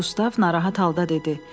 Qustav narahat halda dedi.